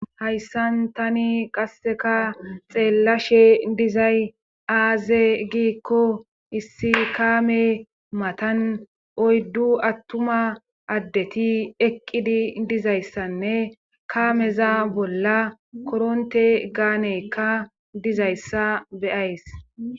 hayssan tani qasseka xeellashe dizay aaze giikko issi kaame matan oyddu attuma addeti eqqidi dizayssanne kaameza bolla koronte gaanekka dizayssa be'ays